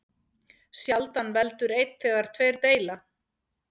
Sjaldan veldur einn þegar tveir deila.